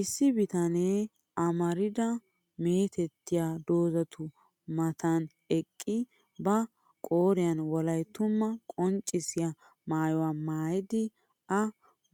Issi bitanee amarida meetettiya doozzatu Matan eqqidi ba qooriyan wolayttumaa qonccissiya maayuwa maayidi. Ha